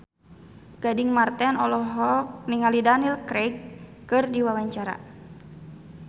Gading Marten olohok ningali Daniel Craig keur diwawancara